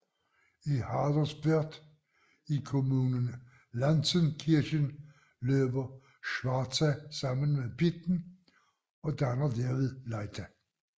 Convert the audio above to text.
I Haderswörth i kommunen Lanzenkirchen løber Schwarza sammen med Pitten og danner derved Leitha